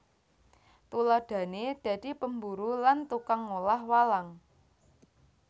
Tuladhané dadi pemburu lan tukang ngolah walang